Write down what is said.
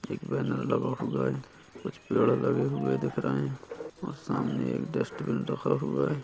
एक बैनर लगा हुआ है कुछ पेड़ लगे हुए दिख रहे है और सामने एक डस्ट्बिन रखा हुआ है।